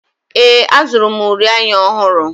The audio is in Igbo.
Ee, azụrụ m uri anya ọhụrụ.